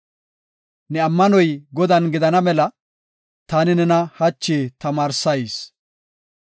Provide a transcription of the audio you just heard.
Ne ammanoy Godan gidana mela, taani nena hachi tamaarsayis.